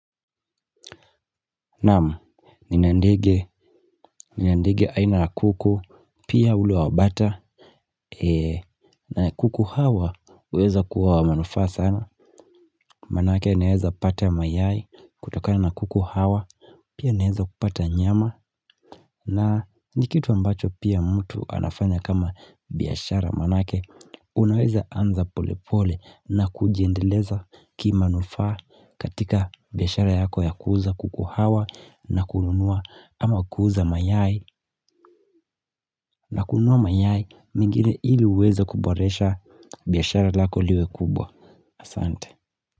Naam, nina ndege, nina ndege aina la kuku, pia ule wa bata, na kuku hawa huweza kuwa wa manufaa sana. Maanake naeza pata mayai kutokana na kuku hawa, pia naeza kupata nyama. Na ni kitu ambacho pia mtu anafanya kama biashara maanake Unaweza anza polepole na kujiendeleza kimanufaa katika biashara yako ya kuuza kuku hawa na kununua ama kuuza mayai na kununua mayai mengine ili uweze kuboresha biashara lako liwe kubwa Asante.